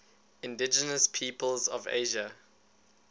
indigenous peoples of asia